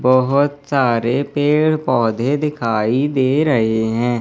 बहोत सारे पेड़ पौधे दिखाई दे रहे हैं।